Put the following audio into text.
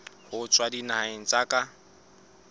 ho tswa dinaheng tsa ka